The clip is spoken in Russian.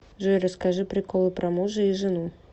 джой расскажи приколы про мужа и жену